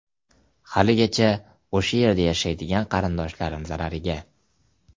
Haligacha o‘sha yerda yashaydigan qarindoshlarim zarariga!